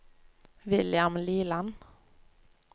William Liland